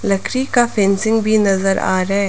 लकड़ी का फेंसिंग भी नजर आ रहा है।